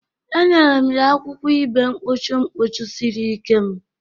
Enyere m ya akwụkwọ ibe mkpuchi mkpuchi siri ike m.